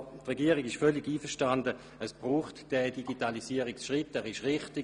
Die Regierung ist völlig überzeugt davon, dass es diesen Digitalisierungsschritt braucht.